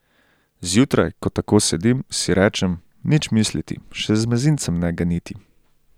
Zjutraj, ko tako sedim, si rečem, nič misliti, še z mezincem ne ganiti.